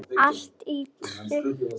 Allt er tryggt.